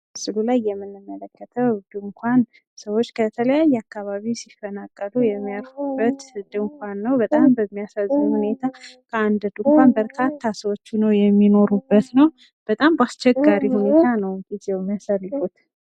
በምስሉ ላይ የምንመለከተው ድንኻን ሰዎች ከተለያዩ አካባቢ ሲፈናቀሉ የሚያርፉበት ድንኳን ነው። በጣም በሚያሳዝን ሁኔታ በአንድን ድንኳን በጣም ብዙ ሰዎች ናቸው የሚኖሩበት። በጣም በአስቸጋሪ ሁኔታ ነው ጊዜውን የሚያሳልፉት።